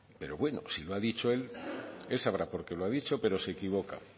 pero bueno si lo ha dicho él él sabrá por qué lo ha dicho pero se equivoca